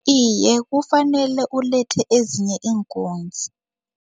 Iye, kufanele ulethe ezinye iinkunzi.